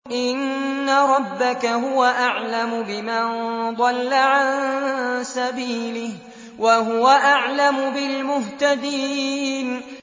إِنَّ رَبَّكَ هُوَ أَعْلَمُ بِمَن ضَلَّ عَن سَبِيلِهِ وَهُوَ أَعْلَمُ بِالْمُهْتَدِينَ